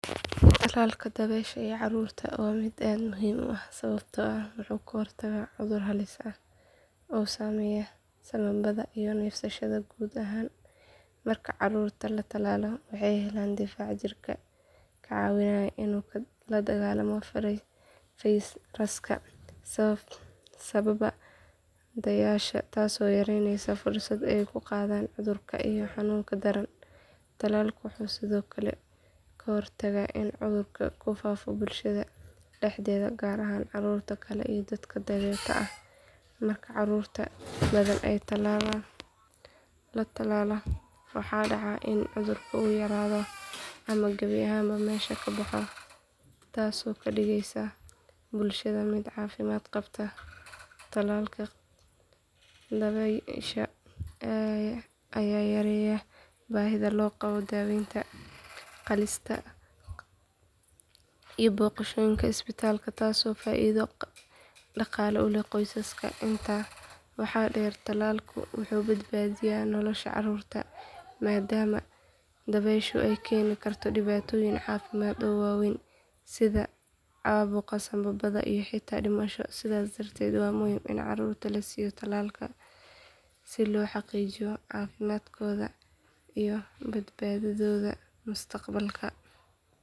Tallalka dabaysha ee carruurta waa mid aad muhiim u ah sababtoo ah wuxuu ka hortagaa cudur halis ah oo saameeya sambabada iyo neefsashada guud ahaan. Marka carruurta la tallaalo waxay helaan difaac jirka ka caawinaya inuu la dagaallamo fayraska sababa dabaysha, taasoo yareynaysa fursadaha ay ku qaadaan cudurka iyo xanuunka daran. Tallalku wuxuu sidoo kale ka hortagaa in cudurka uu ku faafo bulshada dhexdeeda gaar ahaan carruurta kale iyo dadka danyarta ah. Marka carruur badan la tallaalo waxaa dhaca in cudurka uu yaraado ama gebi ahaanba meesha ka baxo, taasoo ka dhigaysa bulshada mid caafimaad qabta. Tallalka dabaysha ayaa yareeya baahida loo qabo daaweyn qaalisan iyo booqashooyinka isbitaalada taasoo faa’iido dhaqaale u leh qoysaska. Intaa waxaa dheer, tallalku wuxuu badbaadiyaa nolosha carruurta maadaama dabayshu ay keeni karto dhibaatooyin caafimaad oo waaweyn sida caabuqa sambabada iyo xitaa dhimasho. Sidaas darteed waa muhiim in carruurta la siiyo tallaalkan si loo xaqiijiyo caafimaadkooda iyo badbaadadooda mustaqbalka.